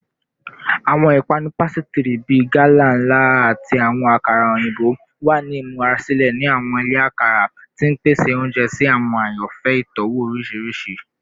Awọn ipanu pasitiri bii gala nla ati awọn akara oyinbo wa ni imurasilẹ ni awọn ile akara, ti n pese ounjẹ si awọn ayanfẹ itọwo oriṣiriṣi.